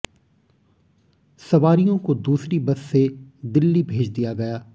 सवारियों को दूसरी बस से दिल्ली भेज दिया गया